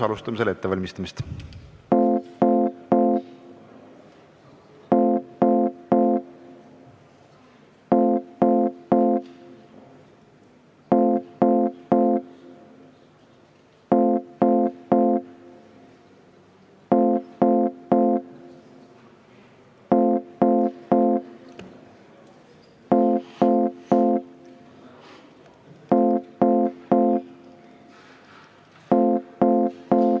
Alustame selle ettevalmistamist.